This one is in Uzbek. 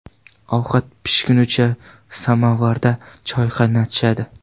Ovqat pishgunicha samovarda choy qaynatishadi.